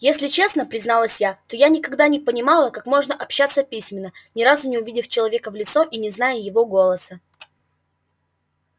если честно призналась я то я никогда не понимала как можно общаться письменно ни разу не увидев человека в лицо и не зная его голоса